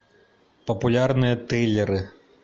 популярные триллеры